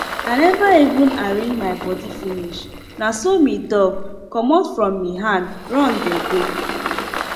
i neva even arrange my bodi finish naso mi dog comot from mi hand run dey go